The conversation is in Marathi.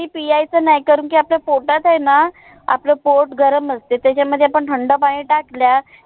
पियायच नाही कारण की, आपल्या पोटात आहे ना आपलं पोट ग्राम असते. त्याच्यामध्ये आपण थंड पाणी टाकल्या